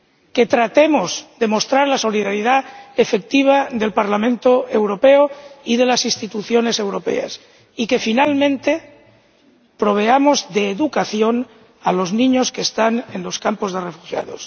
Que tratemos de mostrar la solidaridad efectiva del Parlamento Europeo y de las instituciones europeas y, por último, que demos educación a los niños que están en los campos de refugiados.